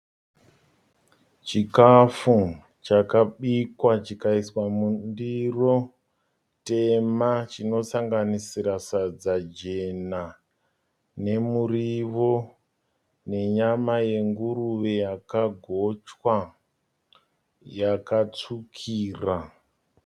Chikafu chakabikwa chikaiswa mundiro tema chinosanganisira sadza jena nemuriwo nenyama yenguruve yakagochwa yakatsvukira.